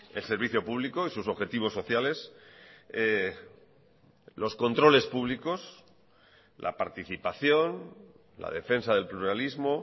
el servicio público y sus objetivos sociales los controles públicos la participación la defensa del pluralismo